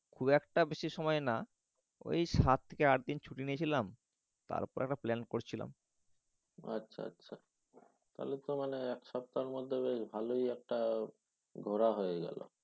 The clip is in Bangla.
খুব একটা বেশি সময় না। ঐ সাত কি আট দিন ছুটি নিয়েছিলাম তারপর একটা প্লান করছিলাম। আচ্ছা আচ্ছা। তাহলে তো মানে এক সপ্তাহের মধ্যে বেশ ভালই একটা ঘোরা হয়ে গেলো।